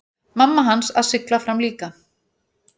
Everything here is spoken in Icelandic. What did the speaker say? Mamma hans að sigla fram líka.